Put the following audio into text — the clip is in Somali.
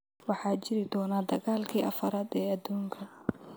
waxaa jiri doona dagaalkii afaraad ee aduunka